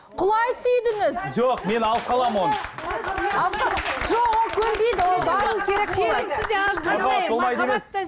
құлай сүйдіңіз жоқ мен алып қаламын оны жоқ ол көнбейді